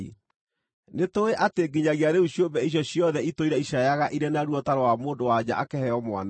Nĩtũũĩ atĩ nginyagia rĩu ciũmbe icio ciothe itũire icaayaga irĩ na ruo ta rwa mũndũ-wa-nja akĩheo mwana.